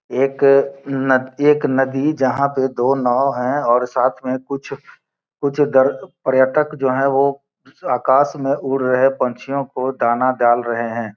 एक का एक नदी जहाँ पे दो नाव हैं और साथ में कुछ कुछ पर्यटक जो हैं वो आकाश में उड़ रहे पंछियों को दान डाल रहे हैं।